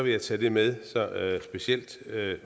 jeg tage det med specielt